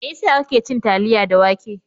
Mai yasa kake cin taliya da wake?